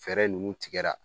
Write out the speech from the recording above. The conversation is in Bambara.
Fɛɛrɛ ninnu tigɛra